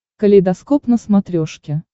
калейдоскоп на смотрешке